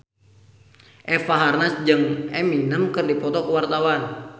Eva Arnaz jeung Eminem keur dipoto ku wartawan